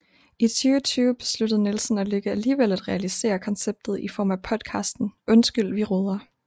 I 2020 besluttede Nielsen og Lykke alligevel at realisere konceptet i form af podcasten Undskyld vi roder